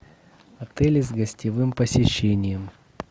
отели с гостевым посещением